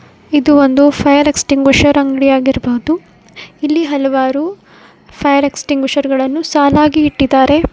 ಇದು ಒಂದು fire extinguisher ಅಂಗಡಿ ಆಗಿರಬಹುದು ಇಲ್ಲಿ ಹಲವಾರು ಫೈಯರ್ ಎಕ್ಸಟಿಂಗ್ವಿಷರ್ ಗಳನ್ನು ಸಾಲಾಗಿ ಇಟ್ಟಿದ್ದಾರೆ.